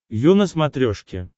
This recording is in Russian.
ю на смотрешке